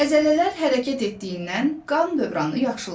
Əzələlər hərəkət etdiyindən qan dövranı yaxşılaşır.